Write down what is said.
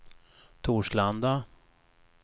Torslanda